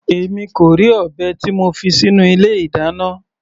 Èmi kò rí ọ̀bẹ tí mo fi sínú ilé ìdáná.